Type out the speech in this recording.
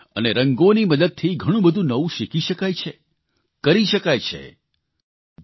કળા અને રંગોની મદદથી ઘણુંબધું નવું શીખી શકાય છે કરી શકાય છે